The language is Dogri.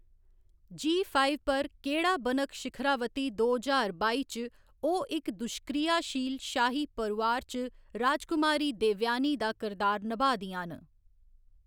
जी फाइव पर केह्‌‌ड़ा बनग शिखरावती दो ज्हार बाई च ओह्‌‌ इक दुष्क्रियाशील शाही परोआर च राजकुमारी देवयानी दा किरदार नभाऽ दियां न।